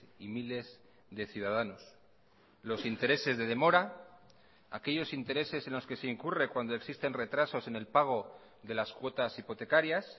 y miles de ciudadanos los intereses de demora aquellos intereses en los que se incurre cuando existen retrasos en el pago de las cuotas hipotecarias